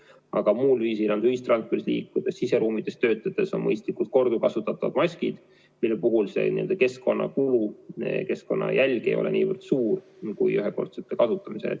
Aga mujal, on see ühistranspordis liikudes või siseruumides töötades, on mõistlikud korduvkasutatavad maskid, mille puhul keskkonnakulu, keskkonnajälg ei ole nii suur kui ühekordsete kasutamisel.